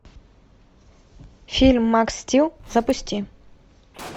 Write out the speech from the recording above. фильм макс стил запусти